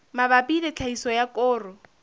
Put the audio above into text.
mabapi le tlhahiso ya koro